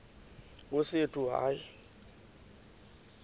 nkosi yethu hayi